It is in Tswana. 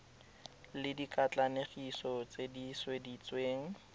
le dikatlanegiso tse di sweditsweng